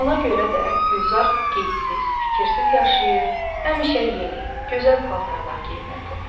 Ona görə də Gülzar qeydsiz, fikirsiz yaşayır, həmişə yeni, gözəl paltarlar geyinirdi.